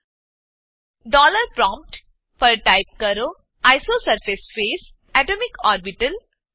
dollar prompt dollar prompt પર type કરો isosurface phase atomic orbital